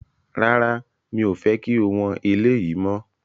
Rárá, mi ò fẹ́ kí o wọn eléyìí mọ́